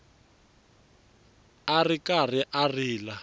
a ri karhi a rila